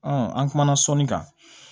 an kumana sɔnni kan